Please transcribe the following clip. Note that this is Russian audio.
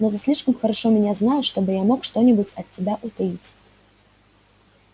но ты слишком хорошо меня знаешь чтобы я мог что-нибудь от тебя утаить